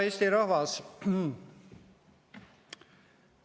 Hea Eesti rahvas!